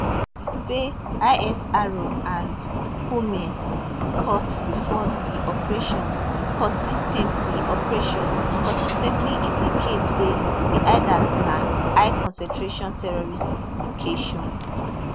e say isr and humint reports bifor di operation consis ten tly operation consis ten tly indicate say di hideout na highconcentration terrorist location